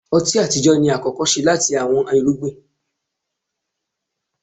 ọti atijọ ni akọkọ ṣe lati awọn irugbin.